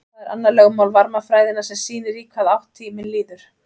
það er annað lögmál varmafræðinnar sem sýnir í hvaða átt tíminn líður